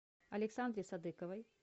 александре садыковой